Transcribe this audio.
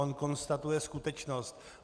On konstatuje skutečnost.